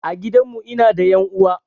A gidan mu ina da ƴan uwa